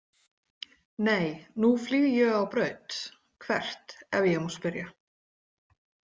Nei nú flýg ég á braut „Hvert ef ég má spyrja“?